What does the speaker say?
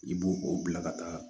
I b'o o bila ka taa